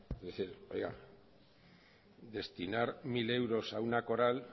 es decir oiga destinar mil euros a una coral